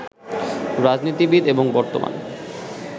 রাজনীতিবিদ এবং বর্তমানে